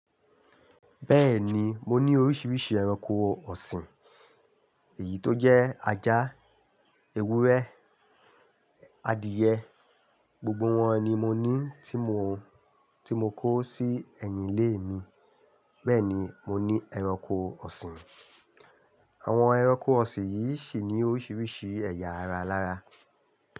Bẹ́ẹ̀ni, mo ní oríṣiríṣi ẹranko ọ̀sìn. Èyí tó jẹ́ ajá, ewúrẹ́, adìẹ, gbogbo wọn ni mo ní tí mo, tí mo kó sí ẹ̀yìn ilé mi. Bẹ́ẹ̀ ni, mo ní ẹranko ọ̀sìn. Àwọn ẹranko ọ̀sìn yìí sì ní oríṣiríṣi ẹ̀yà ara lára.